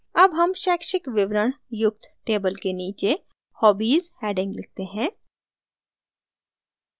अब हम शैक्षिक विवरण युक्त table के नीचे hobbies heading लिखते हैं